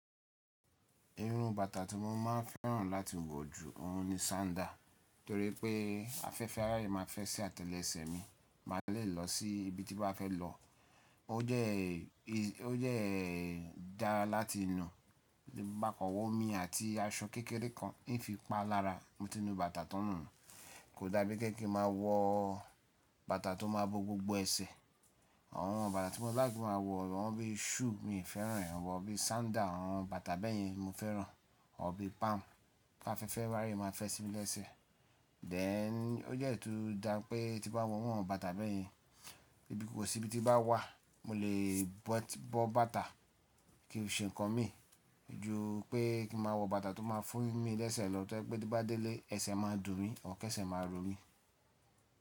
Iru bàtà tí mo máa ń fẹ́ràn láti wọ̀ ju òhun ni sandal. Torí pé afẹ́fẹ́ à raye máa fẹ́ sí àtẹ́lẹsẹ̀ mi. Má a lè lọ sí ibi tí n bá fẹ́ lọ. O dẹ́, o dẹ́ dára láti nu, ma kan wa omi àti aṣọ kékeré kan n fi pa lára mo ti nú bàtà tan nu. Kò dàbí pe ki n máa wọ bàtà tó máa bo gbogbo ẹsẹ̀. Àwọn bàtà tí mo laik kin máa wọ, àwọn bí shoe mi n fẹ́ràn ẹ̀. Àwọn bí sandal, àwọn bàtà bẹ́yẹn ni mo fẹ́ràn. Àwọn bi palm ti áfẹ́fẹ́ à ráye máa fẹ́ sí mi lẹ́sẹ̀. Then ó dẹ́ tun dáa pé tí n bá wọ iru àwọn bàtà bẹ́yẹn, ko si ibi ti n bá wà mo lè bọ̀ bàtà ki n fi ṣe ǹnkan mi. Ju pé kí n máa wọ bàtà tó máa fún mi lẹ́sẹ̀ lọ tó jẹ pẹ́ tí n bá délé ẹsẹ̀ máa dùn mí, or kẹ́sẹ̀ máa rọ̀ mí.